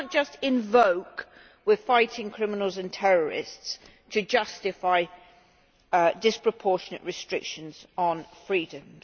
You cannot just invoke we're fighting criminals and terrorists' to justify disproportionate restrictions on freedoms.